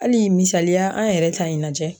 Hali misaliya an yɛrɛ ta in lajɛ.